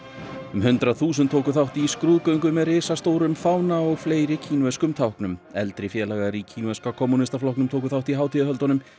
um hundrað þúsund tóku þátt í skrúðgöngu með risastórum fána og fleiri kínverskum táknum eldri félagar í kínverska kommúnistaflokknum tóku þátt í hátíðahöldunum